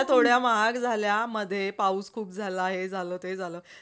थोड्या महाग झाल्या मध्ये पाऊस खुप झालं हे झालं ते झालं.